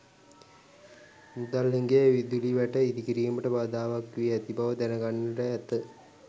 මුදල් හිඟය විදුලි වැට ඉදිකිරීමට බාධාවක් වී ඇති බව දැනගන්නට ඇත.